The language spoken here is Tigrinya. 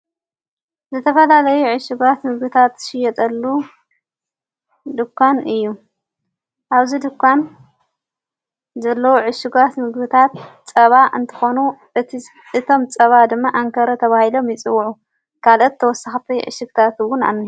ዝተፈላለይ ዕሽጓት ምግብታት እሽጸሎ ድኳን እዩ ኣብዚ ድኳን ዘሎ ዕሽጓት ምግብታት ጸባ እንተኾኑ እቲ እቶም ጸባ ድማ ኣንከረ ተብሂሎምይጽውዑ ካልአት ተወሳኻፈይ ዕሽኽታትውን ኣዉን